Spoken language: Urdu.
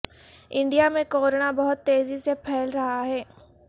انڈیا میں کورونا بہت تیزی سے پھیل رہا ہے